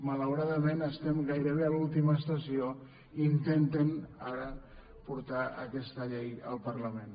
malauradament estem gairebé a l’última estació i intentem ara portar aquesta llei al parlament